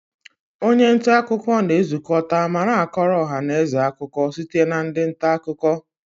Onye nta akụkọ na-ezukọta ma na-akọrọ ọha na eze akụkọ site na ndị nta akụkọ